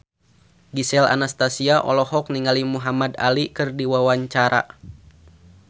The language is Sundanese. Gisel Anastasia olohok ningali Muhamad Ali keur diwawancara